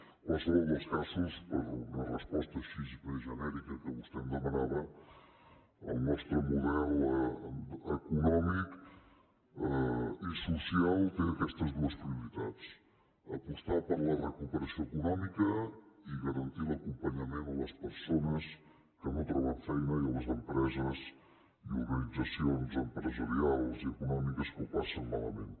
en qualsevol dels casos per una resposta així més genèrica que vostè em demanava el nostre model econòmic i social té aquestes dues prioritats apostar per la recuperació econòmica i garantir l’acompanyament a les persones que no troben feina i a les empreses i organitzacions empresarials i econòmiques que ho passen malament